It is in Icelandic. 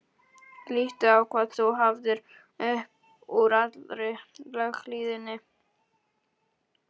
Líttu á hvað þú hafðir upp úr allri löghlýðninni.